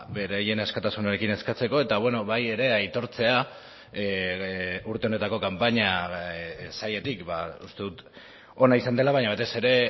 beraien askatasunarekin eskatzeko eta bai ere aitortzea urte honetako kanpaina sailetik uste dut ona izan dela baina batez ere